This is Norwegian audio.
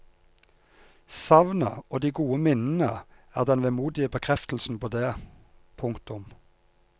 Savnet og de gode minnene er den vemodige bekreftelse på det. punktum